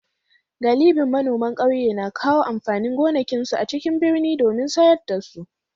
Galibin manoman kauyen na kawo amfanin gonakinsu a cikin birni domin sayar da su.